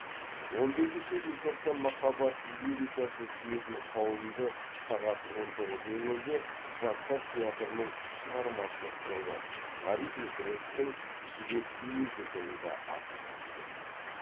он бесінші желтоқсан махаббат лирикасын сүйетін қауымды сағат он тоғыз нөл нөлде жастар театрының шығармашылық тобы ғабит мүсіреповтің жібек мюзиклында асыға күтеді